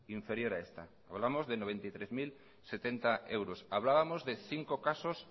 inferior a esta hablamos de noventa y tres mil setenta euros hablábamos de cinco casos